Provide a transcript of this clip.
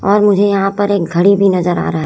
और मुझे यहाॅं पर एक घड़ी भी नजर आ रहा--